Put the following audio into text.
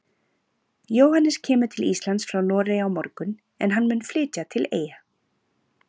Jóhannes kemur til Íslands frá Noregi á morgun en hann mun flytja til Eyja.